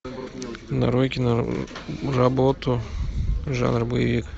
нарой киноработу жанр боевик